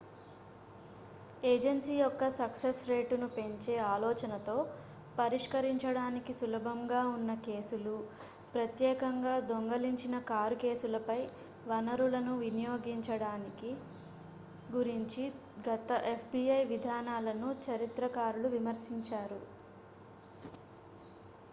agency యొక్క success రేటును పెంచే ఆలోచనతో పరిష్కరించడానికి సులభంగా ఉన్న కేసులు ప్రత్యేకంగా దొంగిలించిన కారు కేసులపై వనరులను వినియోగించడం గురించి గత fbi విధానాలను చరిత్రకారులు విమర్శించారు